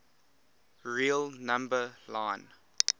real number line